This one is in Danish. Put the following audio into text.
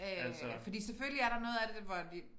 Øh fordi selvfølgelig er der noget af det hvor de